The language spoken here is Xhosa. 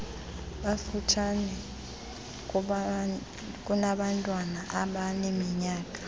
bafutshane kunabantwana abaneminyaka